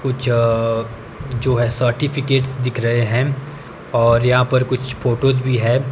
कुछ जो है सर्टिफिकेट्स दिख रहे है और यहां पर कुछ फोटोस भी है।